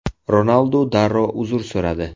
Ronaldu darrov uzr so‘radi.